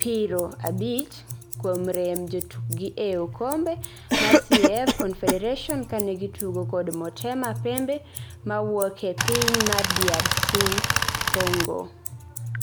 piro abich kuom rem jotukgi e okombe mar CAF Confederation kane gitugo kod Motema Pembe mawuoke piny mar DRC Congo